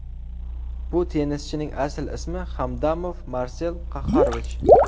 Bu tennischining asl ismi Hamdamov Marsel Qahhorovich.